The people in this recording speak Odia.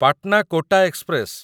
ପାଟନା କୋଟା ଏକ୍ସପ୍ରେସ